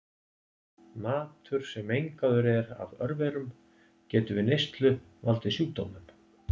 Matur sem mengaður er af örverum getur við neyslu valdið sjúkdómum.